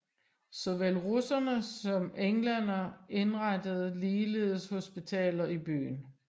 Såvel russerne som englænderne indrettede ligeledes hospitaler i byen